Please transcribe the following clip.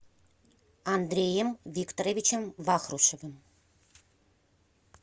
андреем викторовичем вахрушевым